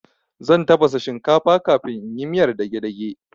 Zan tafasa shinkafa kafin in yi miyar dagedage